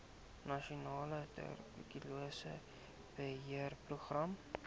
nasionale tuberkulose beheerprogram